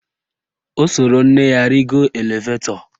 O soro nne ya rigo elevetọ